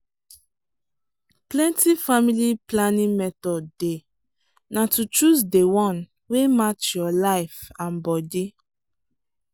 plenty family planning method dey na to choose dey one wey match your life and body.